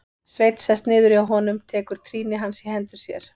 Sveinn sest niður hjá honum, tekur trýni hans í hendur sér.